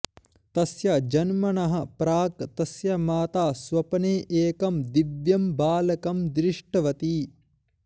तस्य जन्मनः प्राक् तस्य माता स्वप्ने एकं दिव्यं बालकं दृष्टवती